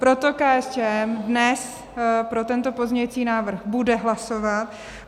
Proto KSČM dnes pro tento pozměňující návrh bude hlasovat.